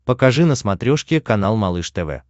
покажи на смотрешке канал малыш тв